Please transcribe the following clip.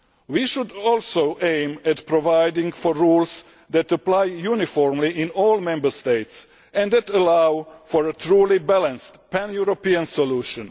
We should also aim at providing for rules which apply uniformly in all Member States and which allow for a truly balanced pan European solution.